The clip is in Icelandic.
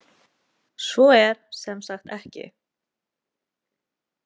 Svo er sem sagt ekki.